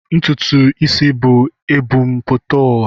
Ntụtụ isi bú e bu m pụta ụwa.